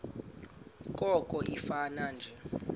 koko ifane nje